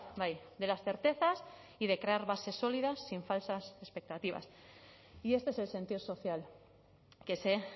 bai de las certezas y de crear bases sólidas sin falsas expectativas y este es el sentido social que se